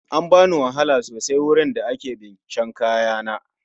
An bani wahala sosai wurin da ake bincika kaya